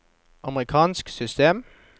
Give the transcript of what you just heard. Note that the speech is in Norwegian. amerikansk system